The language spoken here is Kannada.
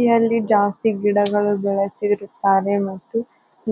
ಈ ಹಳ್ಳಿ ಜಾಸ್ತಿ ಗಿಡಗಳು ಇದ್ದವೇ ಸೇರುತ್ತವೆ ಮತ್ತು